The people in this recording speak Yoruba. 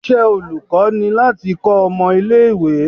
Iṣẹ́ olùkọ́ ni láti kọ́ ọmọ ilé ìwé.